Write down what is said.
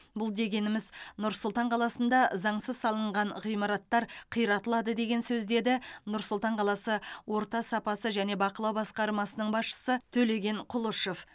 бұл дегеніміз нұр сұлтан қаласында заңсыз салынған ғимараттар қиратылады деген сөз деді нұр сұлтан қаласы орта сапасы және бақылау басқармасының басшысы төлеген құлышев